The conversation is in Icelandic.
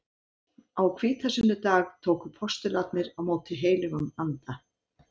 Á hvítasunnudag tóku postularnir á móti heilögum anda.